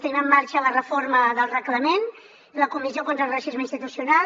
tenim en marxa la reforma del reglament la comissió d’estudi sobre el racisme institucional